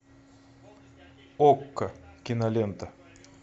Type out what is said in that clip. окко кинолента